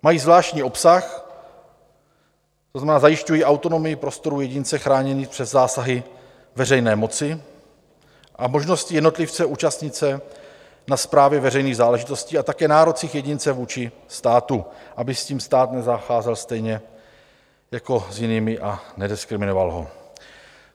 Mají zvláštní obsah, to znamená, zajišťují autonomii prostorů jedince chráněných před zásahy veřejné moci a možnosti jednotlivce účastnit se na správě veřejných záležitostí a také nárocích jedince vůči státu, aby s ním stát nezacházel (?) stejně jako s jinými a nediskriminoval ho.